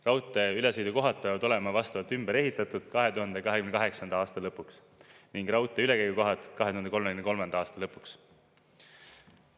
Raudteeülesõidukohad peavad olema vastavalt ümber ehitatud 2028. aasta lõpuks ning raudteeülekäigukohad 2033. aasta lõpuks.